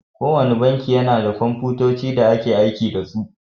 Kowanne banki yana da Komfutoci da ake aiki da su.